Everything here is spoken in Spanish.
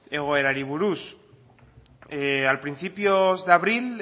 egoerari buruz a principios de abril